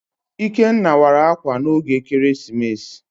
Ikenna wara ákwà n'oge ekeresimesi.